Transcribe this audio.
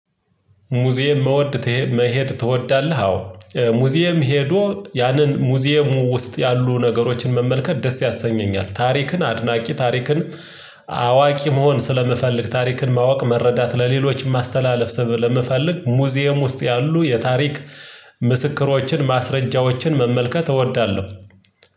ሙዚየም መውደት መሄድ ትወዳለህ? አዎ ሙዚየም ሄዶ ያንን ሙዚየሙ ውስጥ ያሉ ነገሮችን መመልከት ደስ ያሰኘኛል። ታሪክን አድናቂ ታሪክን አዋቂ መሆን ስለምፈልግ። ታሪክን ማወቅ መረዳት ለሌሎችም ማስተላለፍ ስብ ለመፈለግ ሙዚየም ውስጥ ያሉ የታሪክ ምስክሮችን ማስረጃዎችን መመልከት እወዳለሁ።